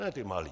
Ne ty malé.